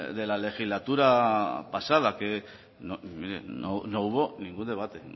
de la legislatura pasada que mire no hubo ningún debate